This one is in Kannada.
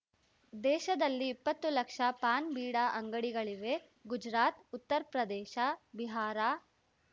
ದೇಶದಲ್ಲಿ ಇಪ್ಪತ್ತು ಲಕ್ಷ ಪಾನ್‌ ಬೀಡಾ ಅಂಗಡಿಗಳಿವೆ ಗುಜರಾತ್‌ ಉತ್ತರ್ ಪ್ರದೇಶ ಬಿಹಾರ